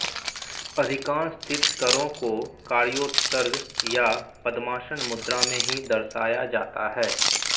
अधिकांश तीर्थंकरों को कायोत्सर्ग या पद्मासन मुद्रा में ही दर्शाया जाता है